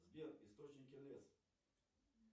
сбер источники еэс